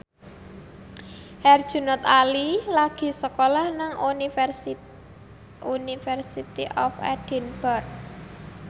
Herjunot Ali lagi sekolah nang University of Edinburgh